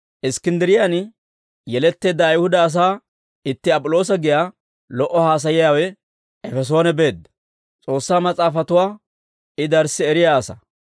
Iskkinddiriyaan yeletteedda Ayihuda asaa itti Ap'iloosa giyaa lo"o haasayiyaawe Efesoone beedda; S'oossaa Mas'aafatuwaa I darssi eriyaa asaa.